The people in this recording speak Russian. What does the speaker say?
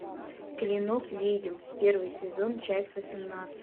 клинок ведьм первый сезон часть восемнадцать